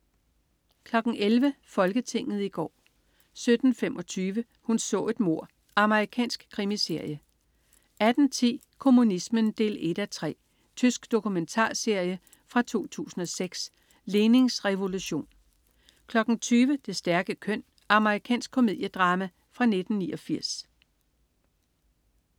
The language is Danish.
11.00 Folketinget i går 17.25 Hun så et mord. Amerikansk krimiserie 18.10 Kommunismen 1:3. Tysk dokumentarserie fra 2006. "Lenins revolution" 20.00 Det stærke køn. Amerikansk komediedrama fra 1989